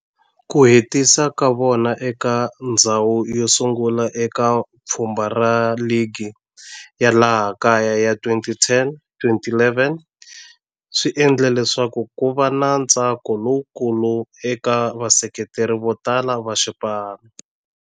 Ku hetisa ka vona eka ndzhawu yo sungula eka pfhumba ra ligi ya laha kaya ya 2010-11 swi endle leswaku kuva na ntsako lowukulu eka vaseketeri votala va xipano.